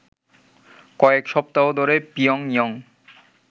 কয়েক সপ্তাহ ধরে পিয়ংইয়ং